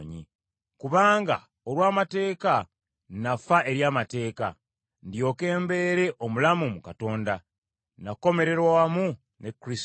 Kubanga olw’amateeka nnafa eri mateeka, ndyoke mbeere omulamu mu Katonda. Nakomererwa wamu ne Kristo;